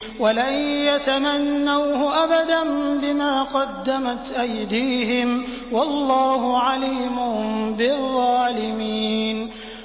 وَلَن يَتَمَنَّوْهُ أَبَدًا بِمَا قَدَّمَتْ أَيْدِيهِمْ ۗ وَاللَّهُ عَلِيمٌ بِالظَّالِمِينَ